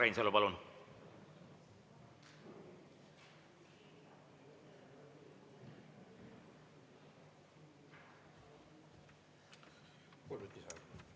Urmas Reinsalu, palun!